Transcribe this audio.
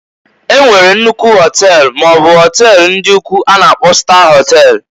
E nwere nnukwu họtel maọbụ họtel ndị ukwu a na-akpo star họtel.